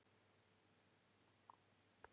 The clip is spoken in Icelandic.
Með lúa skal líf fæða.